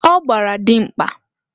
Ọ gbara dịmkpa